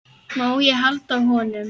Má ég halda á honum?